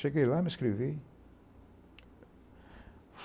Cheguei lá e me inscrevi.